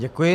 Děkuji.